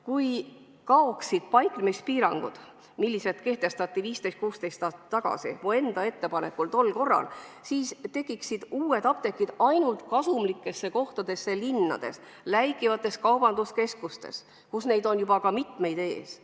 Kui kaoksid paiknemispiirangud, mis kehtestati 15–16 aastat tagasi minu enda ettepanekul, siis tekiksid uued apteegid ainult kasumlikesse kohtadesse, linnades asuvatesse läikivatesse kaubanduskeskustesse, kus neid on juba mitmeid ees.